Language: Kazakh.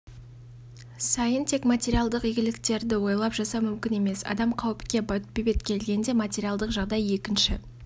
сайын тек материалдық игіліктерді ойлап жасау мүмкін емес адам қауіпке бетпе-бет келгенде материалдық жағдай екінші